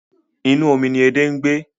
Inú omi ni edé ń gbé.